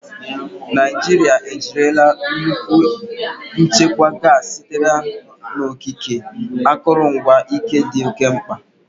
Naijiria ejirila nnukwu nchekwa gasi sitere n'okike, akụrụngwa ike dị oke mkpa.